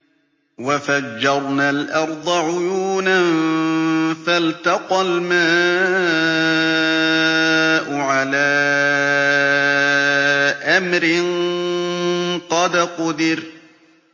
وَفَجَّرْنَا الْأَرْضَ عُيُونًا فَالْتَقَى الْمَاءُ عَلَىٰ أَمْرٍ قَدْ قُدِرَ